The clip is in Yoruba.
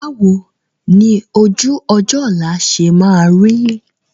Báwo ni ojú-ọjọ́ ọ̀la ṣe máa rí?